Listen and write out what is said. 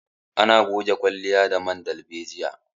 Ana goge kwalliya da man darbejiya